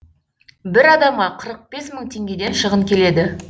бір адамға қырық бес мың теңгеден шығын келеді